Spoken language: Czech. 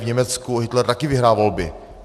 V Německu Hitler taky vyhrál volby.